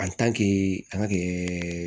an ka kɛ